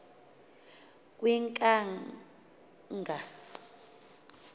kwinkanga